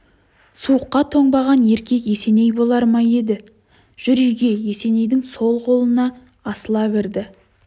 суыққа тоңбаған еркек есеней болар ма еді жүр үйге есенейдің сол қолына асыла кірді